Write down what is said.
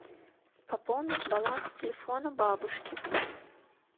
пополнить баланс телефона бабушки